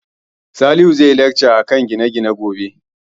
Salihu zai yi lacca akan gine-gine gobe